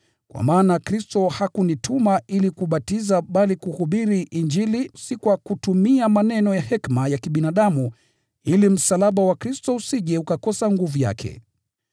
Kwa maana Kristo hakunituma ili kubatiza bali kuhubiri Injili; sio kwa maneno ya hekima ya kibinadamu, ili msalaba wa Kristo usije ukakosa nguvu yake.